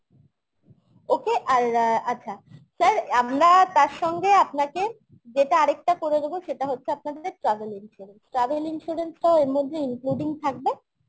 okay আর আচ্ছা sir আমরা তার সঙ্গে আপনাকে যেটা আরেকটা করে দেবো সেটা হচ্ছে আপনাদের travel insurance travel insurance টাও এর মধ্যে including থাকবে